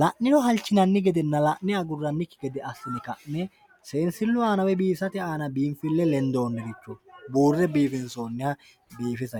la'niro halchinanni gedenna la'ne agurrannikki gede assine ka'ne seensilu aana woy binfisate aana biinfille lendoonire buure biifinsooniha biifisa yinay.